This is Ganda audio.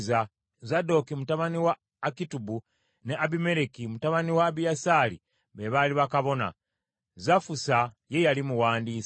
Zadooki mutabani wa Akitubu ne Abimereki mutabani wa Abiyasaali be baali bakabona; Savusa ye yali muwandiisi;